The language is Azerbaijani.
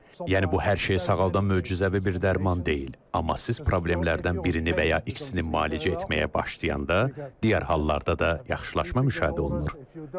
Yəni bu hər şeyi sağaldan möcüzəvi bir dərman deyil, amma siz problemlərdən birini və ya ikisini müalicə etməyə başlayanda digər hallarda da yaxşılaşma müşahidə olunur.